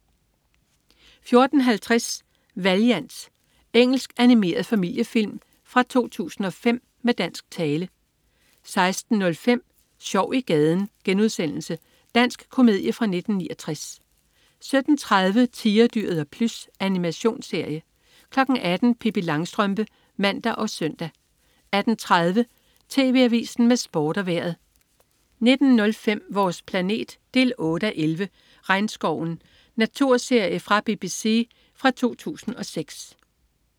14.50 Valiant. Engelsk animeret familiefilm fra 2005 med dansk tale 16.05 Sjov i gaden.* Dansk komedie fra 1969 17.30 Tigerdyret og Plys. Animationsserie 18.00 Pippi Langstrømpe (man og søn) 18.30 TV Avisen med Sport og Vejret 19.05 Vores planet 8:11. "Regnskoven". Naturserie fra BBC fra 2006